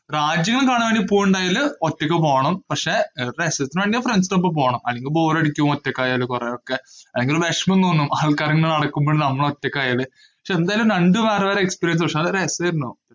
രാജ്യങ്ങള്‍ കാണാന്‍ വേണ്ടി പോവുകയുണ്ടായാല് ഒറ്റക്ക് പോണം. പക്ഷേ, ഒരു രസത്തിനു വേണ്ടിയാ friends നൊപ്പം പോണം. അല്ലെങ്കില് ബോറടിക്കും. ഒറ്റയ്ക്കായാല് കൊറേയൊക്കെ. അല്ലെങ്കില്‍ വെഷമം തോന്നും ആള്‍ക്കാര് ഇങ്ങനെ നടക്കുമ്പോള്‍ നമ്മള് ഒറ്റയ്ക്കായാല്. പക്ഷേ എന്തായാലും രണ്ടും വേറെ വേറെ experience പക്ഷേ, വളരെ രസായിരുന്നു.